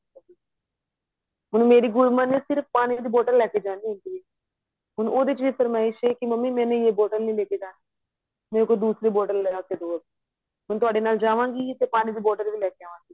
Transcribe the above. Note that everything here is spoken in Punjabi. ਹੁਣ ਮੇਰੀ ਗੁਨਮਨ ਨੇਸਿਰਫ਼ ਪਾਣੀ ਦੀ bottle ਲੈ ਕੇ ਜਾਣੀ ਹੁੰਦੀ ਹੈ ਹੁਣ ਉਹਦੇ ਵਿੱਚ ਵੀ ਫਰਮਾਇਸ਼ ਹੈ ਕਿ ਮੰਮੀ ਮੈਨੇ ਯੇ bottle ਨਹੀਂ ਲੇਕੇ ਜਾਣੀ ਮੁਝੇ ਕੋਈ ਦੂਸਰੀ bottle ਲਿਆਕੇ ਦੋ ਹੁਣ ਤੁਹਾਡੇ ਨਾਲ ਜਾਵਾਂਗੀ ਤੇ ਪਾਣੀ ਦੀ bottle ਵੀ ਲੈਕੇ ਆਵਾਂਗੀ